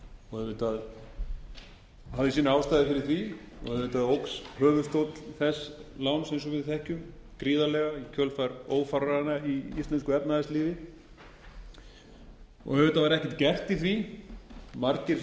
og auðvitað hafði sínar ástæður fyrir því og auðvitað óx höfuðstóll þess láns eins og við þekkjum gríðarlega í kjölfar ófaranna í íslensku efnahagslífi auðvitað var ekkert gert í því margir